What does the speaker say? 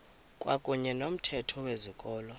kwakuyne nomthetho wezikolo